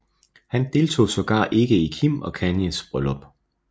Han deltog sågar ikke i Kim og Kanyes bryllup